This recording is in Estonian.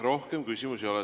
Rohkem küsimusi ei ole.